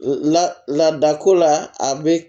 La laada ko la a bɛ